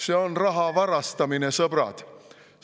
See on raha varastamine, sõbrad!